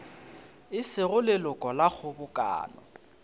e sego leloko la kgobokano